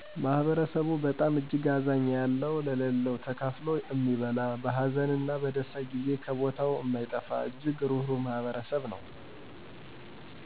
ማህበረሰቡ በጣም እጅግ አዛኛ ያለው ለለው ተካፋሎ እሚበላ በሀዘን እነ በደስታ ጊዜ ከቦታው እማይጠፋ እጅግ ሩሩህ ማህበረሰብ ነው።